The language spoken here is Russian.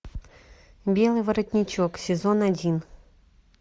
белый воротничок сезон один